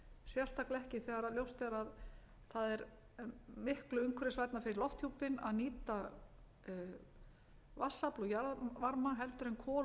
sérstaklega ekki þegar ljóst er að það er miklu umhverfisvænna fyrir lofthjúpinn að nýta vatnsafl og jarðvarma en kol og